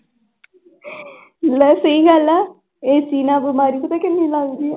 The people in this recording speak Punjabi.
ਲੈ ਸਹੀ ਗੱਲ ਆ AC ਨਾਲ ਬਿਮਾਰੀ ਪਤਾ ਕਿੰਨੀ ਲੱਗਦੀ ਆ।